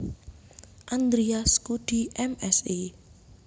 Andarias Kuddy M Si